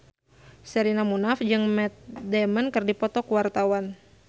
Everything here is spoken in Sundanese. Sherina Munaf jeung Matt Damon keur dipoto ku wartawan